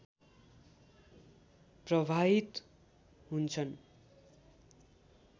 प्रवाहित हुन्छन्